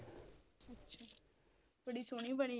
ਅੱਛਾ ਬੜੀ ਸੋਹਣੀ ਬਣੀ ਆ